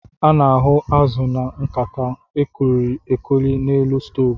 A na-ahu azụ na nkata e koiri-ekoi n'elu stovu.